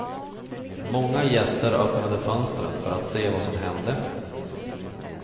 Många gäster öppnade fönstren för att se vad som hände.